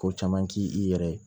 Ko caman ti i yɛrɛ ye